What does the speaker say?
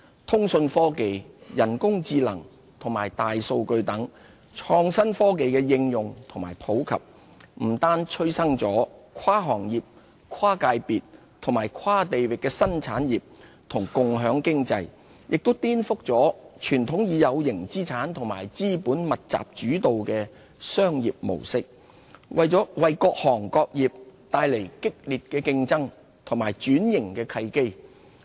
通訊科技、人工智能和大數據等創新科技的應用和普及，不單催生跨行業、跨界別和跨地域的新產業和共享經濟，也顛覆了傳統以有形資產和資本密集主導的商業模式，為各行各業帶來激烈競爭和轉型的契機。